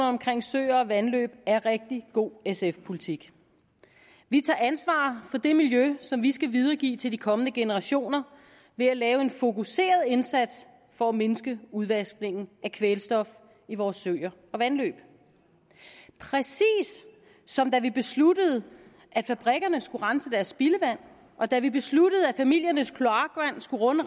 omkring søer og vandløb er rigtig god sf politik vi tager ansvar for det miljø som vi skal videregive til de kommende generationer ved at lave en fokuseret indsats for at mindske udvaskningen af kvælstof i vores søer og vandløb præcis som da vi besluttede at fabrikkerne skulle rense deres spildevand og da vi besluttede at familiernes kloakvand skulle runde